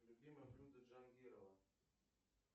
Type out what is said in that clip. любимое блюдо джангирова